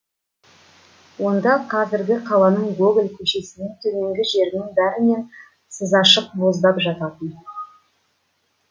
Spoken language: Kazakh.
онда қазіргі қаланың гоголь көшесінен төменгі жерінің бәрінен сызашық боздап жататын